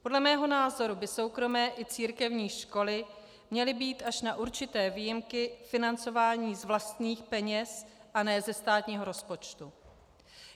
Podle mého názoru by soukromé i církevní školy měly být až na určité výjimky financovány z vlastních peněz a ne ze státního rozpočtu.